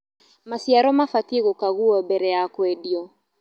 Macĩaro mabatĩe gũkagũo mbere ya kwendĩo